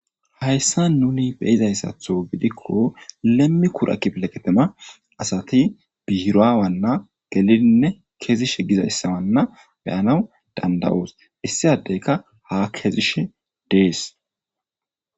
hayssa nuni be7izayssatho gidikko lemmi kura kibleqetema asati biiraawanna gelidinne kezishe gizaissawanna be7anawu danda7oos issi adeyka ha kezishe dees.